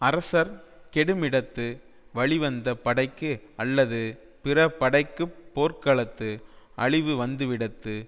அரசர் கெடுமிடத்து வழிவந்த படைக்கு அல்லது பிறபடைக்குப் போர்க்களத்து அழிவு வந்துவிடத்து